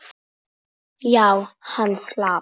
Já, hann slapp.